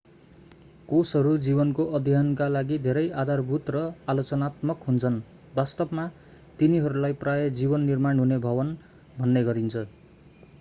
कोषहरू जीवनको अध्ययनका लागि धेरै आधारभूत र आलोचनात्मक हुन्छन् वास्तवमा तिनीहरूलाई प्रायः जीवन निर्माण हुने भवन भन्ने गरिन्छ